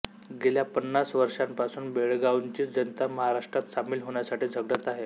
गेल्या पन्नास वर्षापासून बेळगांवची जनता महाराष्ट्रात सामील होण्यासाठी झगडत आहे